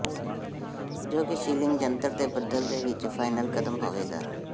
ਜੋ ਕਿ ਸੀਲਿੰਗ ਜੰਤਰ ਦੇ ਬਦਲ ਦੇ ਵਿਚ ਫਾਈਨਲ ਕਦਮ ਹੋਵੇਗਾ